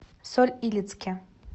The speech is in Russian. соль илецке